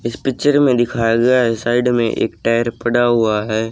इस पिक्चर में दिखाया गया है साइड में एक टायर पड़ा हुआ है।